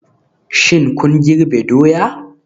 Shin kun girbe doya?